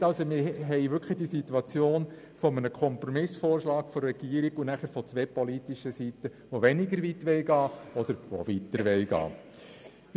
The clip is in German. Wir haben also wirklich einen Kompromissvorschlag von der Regierung und von zwei politischen Seiten je einen Antrag, der weniger weit oder weiter gehen will.